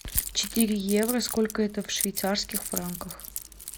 четыре евро сколько это в швейцарских франках